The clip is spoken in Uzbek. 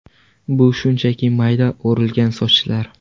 Bu shunchaki mayda o‘rilgan sochlar.